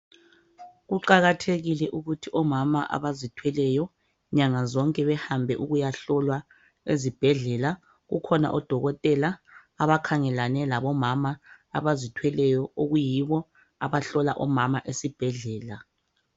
Kuqakathekile ukuthi omama abazithweleyo nyanga zonke behambe ukuyahlolwa ezibhedlelwa, kukhona odokotela abakhangelane labomama abazithweleyo okuyibo abahlola omama esibhedlela.